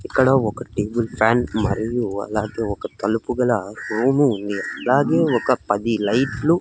ఇక్కడ ఒక table fan మరియు అలాగే ఒక తలుపు గల రూము ఉంది అలాగే ఒక పది లైట్లు --